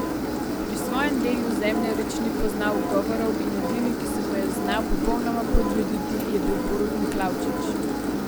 Pri svojem delu Zemljarič ni poznal ugovorov in edini, ki se mu je znal popolnoma podrediti, je bil Borut Miklavčič.